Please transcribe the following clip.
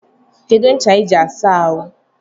Kedu ncha I ji asa ahụ?